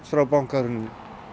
frá bankahruni